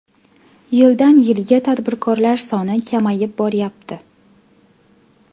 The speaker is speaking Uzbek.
Yildan yilga tadbirkorlar soni kamayib boryapti.